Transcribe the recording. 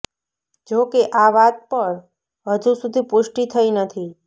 જોકે આ વાત પર હજુ સુધી પૃષ્ટી થઈ નથી